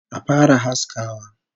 Action!